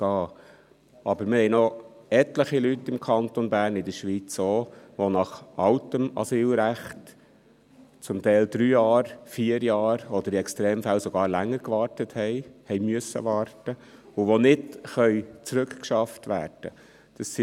Wir haben aber noch etliche Leute im Kanton Bern und auch in der Schweiz, die nach altem Asylrecht zum Teil drei Jahre, vier Jahre oder in Extremfällen sogar länger gewartet haben oder warten mussten und die nicht zurückgeschafft werden können.